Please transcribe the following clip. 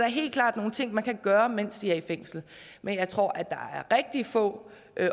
helt klart nogle ting man kan gøre mens de er i fængsel men jeg tror der er rigtig få